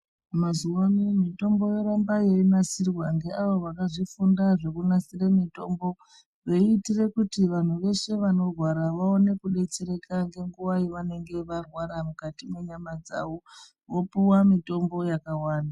Mazuwa anaya mitombo yoramba yeinasirwa ngeavo vakazvifunda zvekunasire mitombo, veiitire kuti vanhu zveshe vanorwara vaone kudetsereka ngenguva yevanenge varwara mukati mwenyama dzavo, vopuwa mitombo yakawanda.